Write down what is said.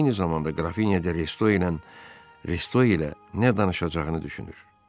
Eyni zamanda qrafinya de Resto ilə nə danışacağını düşünür.